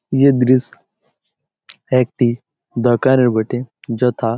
এ দৃশ একটি দরকারের বটে যথা --